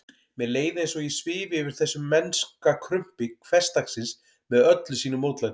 Mér leið eins og ég svifi yfir þessu mennska krumpi hversdagsins með öllu sínu mótlæti.